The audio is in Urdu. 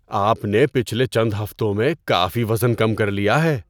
آپ نے پچھلے چند ہفتوں میں کافی وزن کم کر لیا ہے!